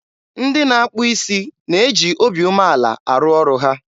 ndị na-akpụ isi na-eji obi umeala arụ ọrụ ha.